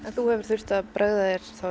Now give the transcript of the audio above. þú hefur þurft að bregða þér